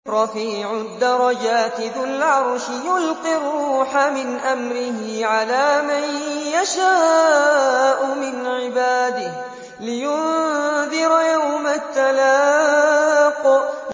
رَفِيعُ الدَّرَجَاتِ ذُو الْعَرْشِ يُلْقِي الرُّوحَ مِنْ أَمْرِهِ عَلَىٰ مَن يَشَاءُ مِنْ عِبَادِهِ لِيُنذِرَ يَوْمَ التَّلَاقِ